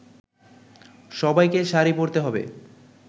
সবাইকে শাড়ি পরতে হবে